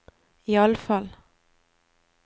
iallfall